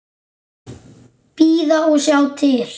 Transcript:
Bíða og sjá til.